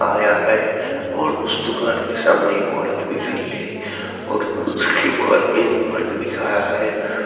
आया है और उस दुकान के सामने एक औरत भी खड़ी है और उसके बगल में एक मर्द भी खड़ा है।